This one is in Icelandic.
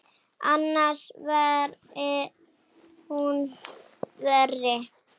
Annars væri hún verri.